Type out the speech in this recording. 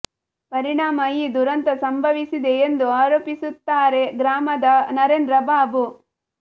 ಪರಿಣಾಮ ಈ ದುರಂತ ಸಂಭವಿಸಿದೆ ಎಂದು ಆರೋಪಿಸುತ್ತಾರೆ ಗ್ರಾಮದ ನರೇಂದ್ರ ಬಾಬು